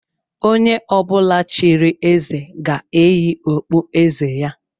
Onye ọbụla chịrị eze ga-eyi okpu eze ya